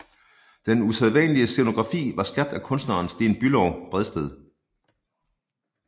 Den usædvanlige scenografi var skabt af kunstneren Sten Bülow Bredsted